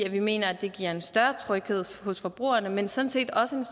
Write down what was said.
at vi mener at det giver en større tryghed for forbrugerne men sådan set også det